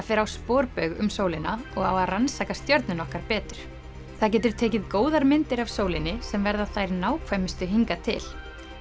fara á sporbaug um sólina og rannsaka stjörnuna okkar betur það getur tekið góðar myndir af sólinni sem verða þær nákvæmustu hingað til